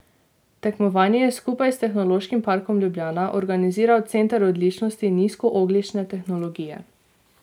Tekmovanje je skupaj s Tehnološkim parkom Ljubljana organiziral Center odličnosti nizkoogljične tehnologije.